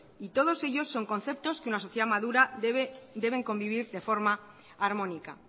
y todos ellos son conceptos que una sociedad madura deben convivir de forma armónica